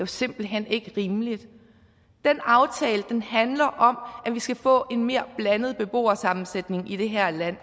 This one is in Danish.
simpelt hen ikke rimeligt den aftale handler om at vi skal få en mere blandet beboersammensætning i det her land